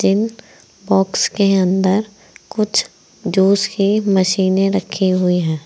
इन box के अंदर कुछ जूस की मशीने रखी हुई हैं।